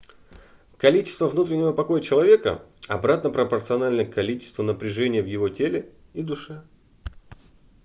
количество внутреннего покоя человека обратно пропорционально количеству напряжения в его теле и душе